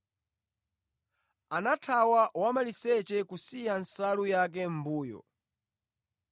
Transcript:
anathawa wamaliseche kusiya nsalu yake mʼmbuyo.